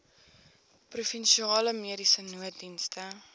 provinsiale mediese nooddienste